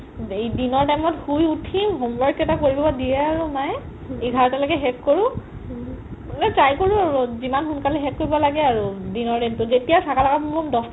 দিনৰ time ত শুই উথি homework কেইটা দিয়ে আৰু কৰিব মাই ইঘাৰতা লৈকে শেষ কৰো মানে try কৰো আৰু জিমান সোন্কালে শেষ কৰিব লাগে আৰু দিনৰ দিনটো তেতিয়া শকা লাকা বুম বুম